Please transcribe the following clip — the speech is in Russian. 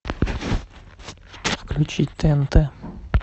включить тнт